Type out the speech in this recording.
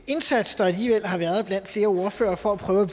indsats der alligevel har været blandt flere ordførere for at prøve